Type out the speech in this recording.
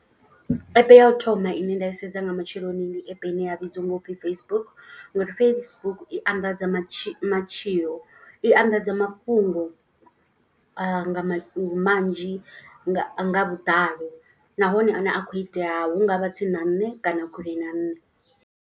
App ya u thoma ine nda i sedza nga matsheloni ndi app ine ya vhidziwa u pfhi Facebook. Ngori Facebook i anḓadza matshi matshilo i anḓadza mafhungo a nga ma manzhi nga nga vhuḓalo. Nahone a ne a khou itea hu nga vha tsini na nṋe kana kule na nṋe.